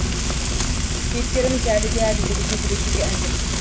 кейіпкеріміз әлі де әділдік үшін күресуге әзір